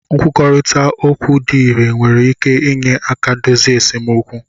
Nkwurịta okwu dị irè nwere ike inye aka dozie esemokwu